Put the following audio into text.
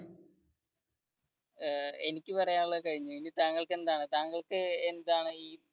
ഏർ എനിക്ക് പറയാനുള്ളത് കഴിഞ്ഞു ഇനി താങ്കൾക് താങ്കൾക്ക് എന്താണ് ഈ